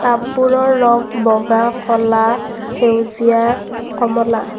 টাববোৰৰ ৰং বগা ক'লা সেউজীয়া কমলা।